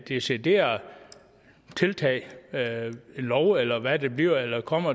decideret tiltag lov eller hvad det bliver eller kommer